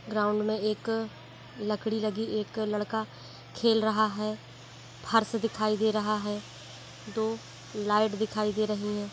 Ground में एक लकड़ी लगी एक लड़का खेल रहा है| फर्श दिखाई दे रहा है दो लाइट दिखाई दे रही है।